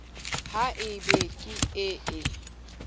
ha e be ke ee